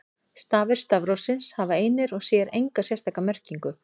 Stafir stafrófsins hafa einir og sér enga sérstaka merkingu.